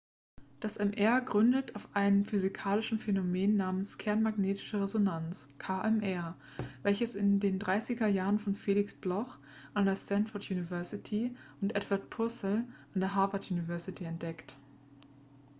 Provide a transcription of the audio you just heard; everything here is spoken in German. das mr gründet auf einem physikalischen phänomen namens kernmagnetische resonanz kmr welches in den dreißiger jahren von felix bloch an der stanford university und edward purcell an der harvard university entdeckt